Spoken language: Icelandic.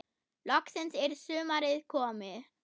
Loksins er sumarið komið.